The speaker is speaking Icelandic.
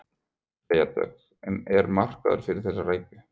Freyja Dögg: En er markaður fyrir þessa rækju?